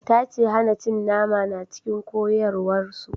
Ta ce hana cin nama na cikin koyarwar su